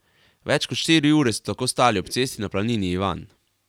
Več kot štiri ure so tako stali ob cesti na planini Ivan.